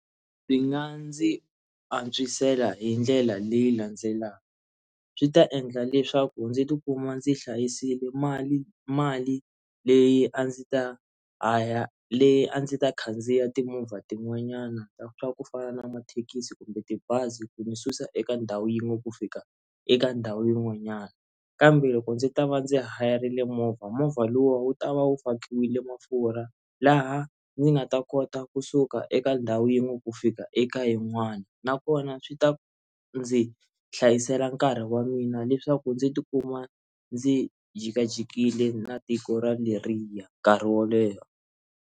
Ndzi nga ndzi antswisela hi ndlela leyi landzelaka swi ta endla leswaku ndzi tikuma ndzi hlayisile mali mali leyi a ndzi ta aya leyi a ndzi ta khandziya timovha tin'wanyana ta swa ku fana na mathekisi kumbe tibazi ku ni susa eka ndhawu yin'we ku fika eka ndhawu yin'wanyana kambe loko ndzi ta va ndzi hayarile movha movha lowu wu ta va wu fakiwile mafurha laha ndzi nga ta kota kusuka eka ndhawu yin'we ku fika eka yin'wana nakona swi ta ndzi hlayisela nkarhi wa mina leswaku ndzi tikuma ndzi jikajikile na tiko ra leriya nkarhi wo leha.